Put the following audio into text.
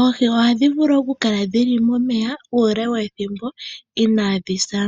Oohi ohadhi vulu okukala dhili momeya uule wethimbo inaadhi sa,